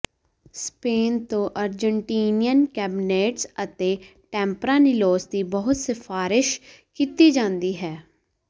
Spain ਤੋਂ Argentinian cabernets ਅਤੇ tempranillos ਦੀ ਬਹੁਤ ਸਿਫਾਰਸ਼ ਕੀਤੀ ਜਾਂਦੀ ਹੈ